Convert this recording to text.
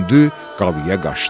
qalaya qaçdı.